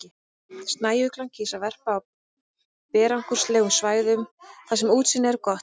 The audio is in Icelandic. Snæuglan kýs að verpa á berangurslegum svæðum þar sem útsýni er gott.